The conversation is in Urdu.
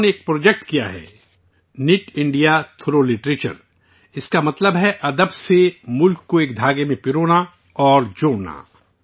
انہوں نے ایک پروجیکٹ کیا ہے نت انڈیا، تھروغ لٹریچر اس کا مطلب ہے ادب سے ملک کو ایک دھاگے میں پرونا اور جوڑنا